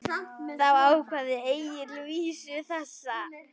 Þá kvað Egill vísu þessa: